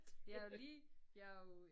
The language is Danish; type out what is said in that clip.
Jeg har lige jeg jo